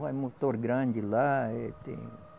É motor grande lá. É tem